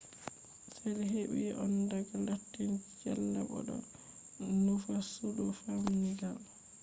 cells heɓi on daga latin cella bo ɗo nufa sudu famɗdinga